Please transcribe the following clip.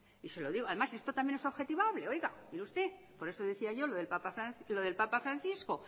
y se lo digo además esto también es objetivable oiga mire usted por eso decía yo también lo del papa francisco